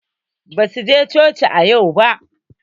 Basu je coci a yau ba.